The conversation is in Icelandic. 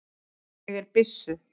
Ég er byssu